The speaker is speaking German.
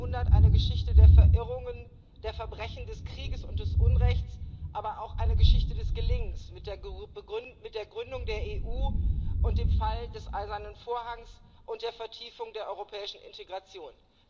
20. Jahrhundert eine Geschichte der Verirrungen, der Verbrechen des Krieges und des Unrechts, aber auch eine Geschichte des Gelingens mit der Gründung der Europäischen Union, dem Fall des Eisernen Vorhangs und der Vertiefung der europäischen Integration.